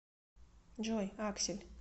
джой аксель